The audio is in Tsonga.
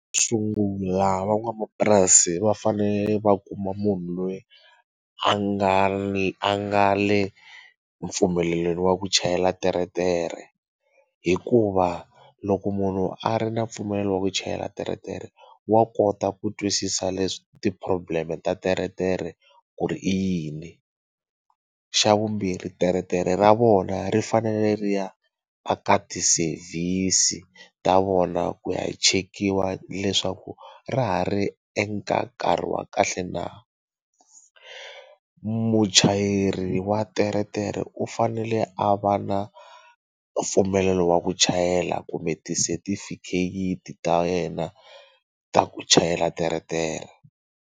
Sungula van'wamapurasi va fanele va kuma munhu loyi a nga ni a nga le mpfumelelweni wa ku chayela teretere hikuva loko munhu a ri na mpfumelelo wa ku chayela teretere wa kota ku twisisa leswi ti problem ta teretere ku ri i yini xa vumbirhi teretere ra vona ri fanele ri ya a ka ti service ta vona ku ya chekiwa leswaku ra ha ri eka nkarhi wa kahle na muchayeri wa teretere u fanele a va na mpfumelelo wa ku chayela kumbe ti setifikheti ta yena ta ku chayela teretere.